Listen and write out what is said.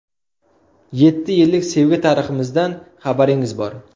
Yetti yillik sevgi tariximizdan xabaringiz bor.